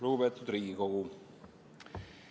Lugupeetud Riigikogu!